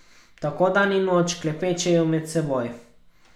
Tako dan in noč klepečejo med seboj.